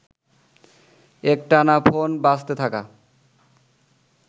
একটানা ফোন বাজতে থাকা